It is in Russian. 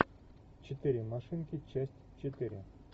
четыре машинки часть четыре